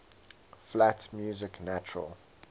flat music natural